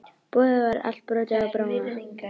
Búið var allt brotið og bramlað.